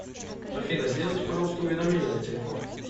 афина сделайте пожалуйста уведомление на телефон